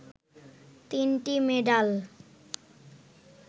তিনটি মেডাল